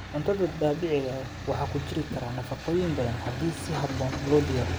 Cuntada dabiiciga ah waxaa ku jiri kara nafaqooyin badan haddii si habboon loo diyaariyo.